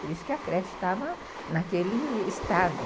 Por isso que a creche estava naquele estado.